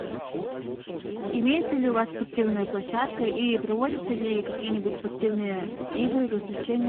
имеется ли у вас спортивная площадка и проводятся ли какие нибудь спортивные игры развлечения